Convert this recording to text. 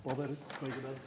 Paber kõigepealt.